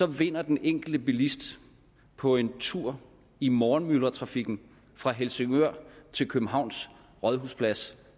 vinder den enkelte bilist på en tur i morgenmyldretrafikken fra helsingør til københavns rådhusplads